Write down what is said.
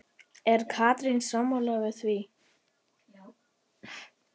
Er Katrín sammála því?